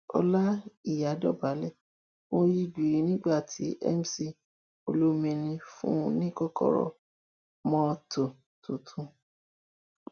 ọláìyá dọbálẹ ó yí gbíìrì nígbà tí mc olomini fún un ní kọkọrọ mọtò tuntun